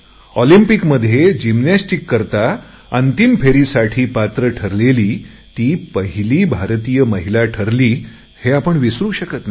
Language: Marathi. ऑलिम्पिकच्या अंतिम फेरीसाठी पात्र ठरलेली ती पहिली भारतीय महिला ठरली हे आपण विसरु शकत नाही